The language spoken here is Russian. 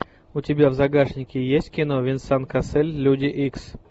у тебя в загашнике есть кино венсан кассель люди икс